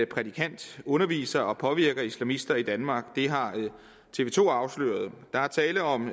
prædikant underviser og påvirker islamisterne i danmark det har tv to afsløret der er tale om